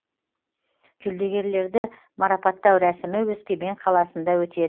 жүлдегерлерді марапаттау рәсімі өскемен қаласында өтеді